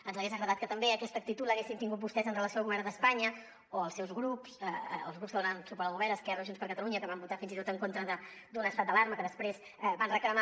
ens hagués agradat que també aquesta actitud l’haguessin tingut vostès en relació amb el govern d’espanya o els seus grups els grups que donen suport al govern esquerra o junts per catalunya que van votar fins i tot en contra d’un estat d’alarma que després van reclamar